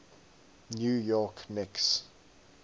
new york knicks